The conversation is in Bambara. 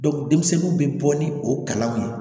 denmisɛnninw bɛ bɔ ni o kalaw ye